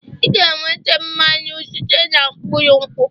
Ị ga-enweta mmanụ site na mkpụrụ nkwụ